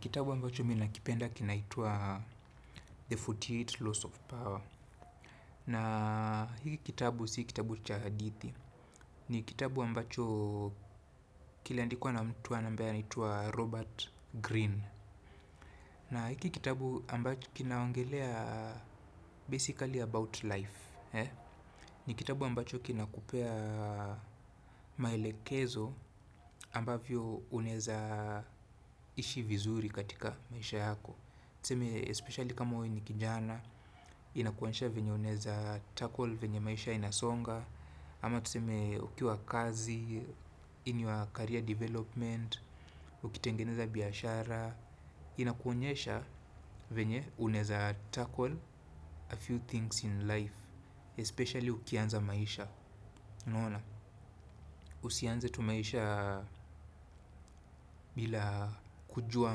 Kitabu ambacho mimi nakipenda kinaitwa The arobaini na nane Laws of Power. Na hiki kitabu si kitabu cha hadithi. Ni kitabu ambacho kilandikuwa na mtu wa na ambae anitwa Robert Green. Na hiki kitabu ambacho kinaongelea basically about life. Ni kitabu ambacho kinakupea maelekezo ambavyo unaeza ishi vizuri katika maisha yako. Tuseme, especially kama wei ni kijana, inakuansha venye unaeza tackle, venye maisha inasonga, ama tuseme ukiwa kazi, in your career development, ukitengeneza biyashara, inakuonesha venye unaeza tackle a few things in life, especially ukianza maisha. Naona, usianze tu maisha bila kujua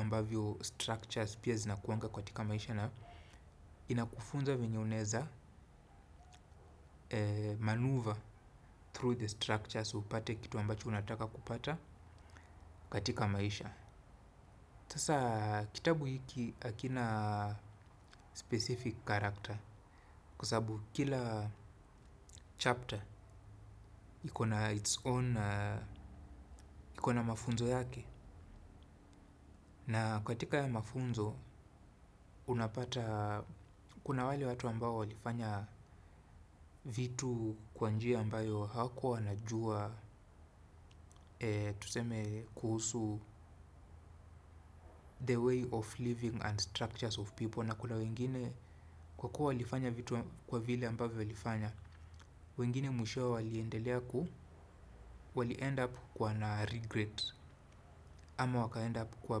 ambavyo structures pia zinakuanga katika maisha na inakufunza venye unaeza maneuver through the structures upate kitu ambacho unataka kupata katika maisha sasa kitabu hiki hakina specific character kwa sababu kila chapter iko na its own iko na mafunzo yake. Na katika haya mafunzo unapata kuna wale watu ambao walifanya vitu kwa njia ambayo hawakuwa wanajua tuseme kuhusu the way of living and structures of people na kuna wengine kwa kuwa walifanya vitu kwa vile ambavyo walifanya. Wengine mwishowe waliendelea ku wali end up kuwa na regret ama waka end up kuwa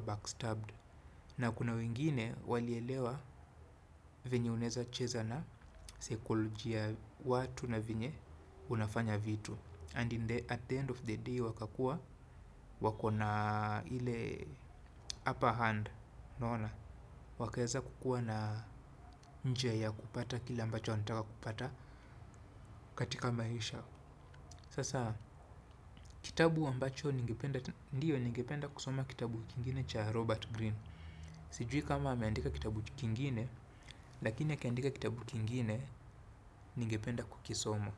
backstabbed na kuna wengine wali elewa venye unaeza cheza na saikolojia watu na venye unafanya vitu and in the at the end of the day wakakuwa wako na ile upper hand unaona wakaerza kukuwa na njia ya kupata kile ambacho wanataka kupata katika maisha. Sasa kitabu ambacho ndiyo ningependa kusoma kitabu kingine cha Robert Green. Sijui kama ameandika kitabu kingine lakini akiandika kitabu kingine ningependa kukisoma.